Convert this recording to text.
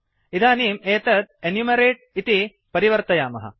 इदानीम् एतत् एनुमेरते इति परिवर्तयामः